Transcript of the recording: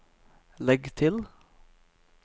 legg til